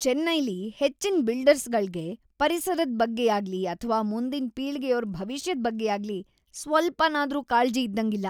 ಚೆನ್ನೈಲಿ ಹೆಚ್ಚಿನ್ ಬಿಲ್ಡರ್ಗಳ್ಗೆ ಪರಿಸರದ್ ಬಗ್ಗೆಯಾಗ್ಲಿ ಅಥ್ವಾ ಮುಂದಿನ್ ಪೀಳ್ಗೆಯೋರ್ ಭವಿಷ್ಯದ್ ಬಗ್ಗೆಯಾಗ್ಲಿ ಸ್ವಲ್ಪನಾದ್ರೂ ಕಾಳ್ಜಿ ಇದ್ದಂಗಿಲ್ಲ.